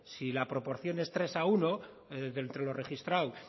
si la proporción es tres a uno de entre lo registrado